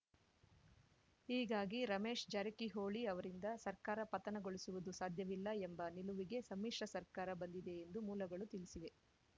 ಹೀಗಾಗಿ ರಮೇಶ್‌ ಜಾರಕಿಹೊಳಿ ಅವರಿಂದ ಸರ್ಕಾರ ಪತನಗೊಳಿಸುವುದು ಸಾಧ್ಯವಿಲ್ಲ ಎಂಬ ನಿಲವಿಗೆ ಸಮ್ಮಿಶ್ರ ಸರ್ಕಾರ ಬಂದಿದೆ ಎಂದು ಮೂಲಗಳು ತಿಳಿಸಿವೆ